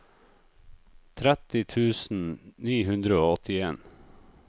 tretti tusen ni hundre og åttien